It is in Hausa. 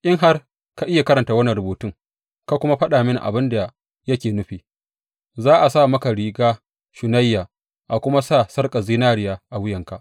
In har ka iya karanta wannan rubutun ka kuma faɗa mini abin da yake nufi, za a sa maka riga shunayya, a kuma sa sarƙar zinariya a wuyanka.